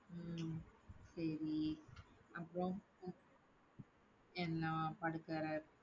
உம் சரி அப்புறம்